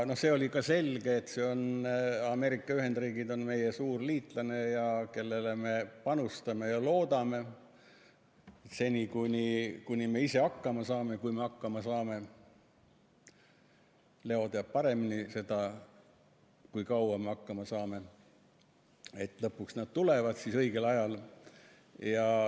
See oli ka selge, et Ameerika Ühendriigid on meie suur liitlane, kellele me panustame ja loodame – seni, kuni me ise hakkama saame, kui me hakkama saame, Leo teab paremini, kui kaua me hakkama saame –, ja lõpuks nad tulevad siis õigel ajal.